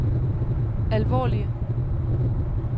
alvorlige